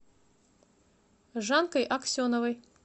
жанкой аксеновой